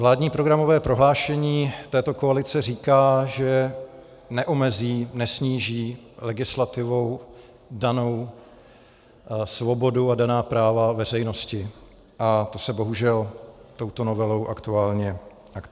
Vládní programové prohlášení této koalice říká, že neomezí, nesníží legislativou danou svobodu a daná práva veřejnosti, a to se bohužel touto novelou aktuálně děje.